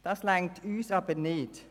Dies reicht für uns nicht.